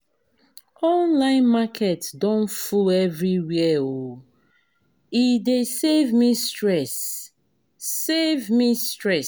Online market don full everywhere um e dey save me stress, save me stress